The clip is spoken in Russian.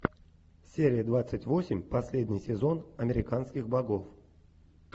серия двадцать восемь последний сезон американских богов